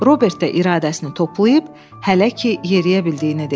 Robert də iradəsini toplayıb hələ ki yeriyə bildiyini dedi.